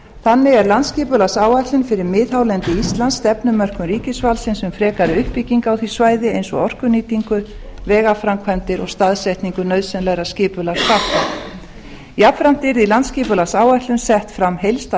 þannig er landsskipulagsáætlun fyrir miðhálendi íslands stefnumörkun ríkisvaldsins um frekari uppbyggingu á því svæði eins og orkunýtingu vegaframkvæmdir og staðsetningu nauðsynlegra skipulagsþátta jafnframt landsskipulagsáætlun yrði sett fram heildstæð